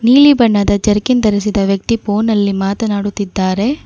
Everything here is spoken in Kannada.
ನೀಲಿ ಬಣ್ಣದ ಜರ್ಕಿನ್ ಧರಿಸಿದ ವ್ಯಕ್ತಿ ಫೋನಲ್ಲಿ ಮಾತನಾಡುತ್ತಿದ್ದಾರೆ.